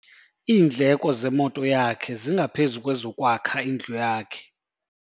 Iindleko zemoto yakhe zingaphezu kwezokwakha indlu yakhe.